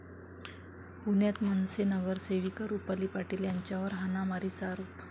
पुण्यात मनसे नगरसेविका रुपाली पाटील यांच्यावर हाणामारीचा आरोप